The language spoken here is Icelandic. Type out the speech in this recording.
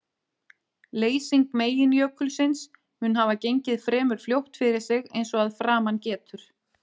Leysing meginjökulsins mun hafa gengið fremur fljótt fyrir sig eins og að framan getur.